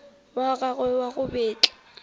wa gagwe wa go betla